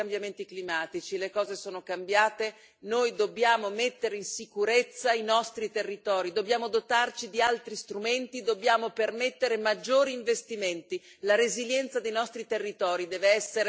Non è questione di dare colpe. Ci sono i cambiamenti climatici, le cose sono cambiate, noi dobbiamo mettere in sicurezza i nostri territori, dobbiamo dotarci di altri strumenti, dobbiamo permettere maggiori investimenti.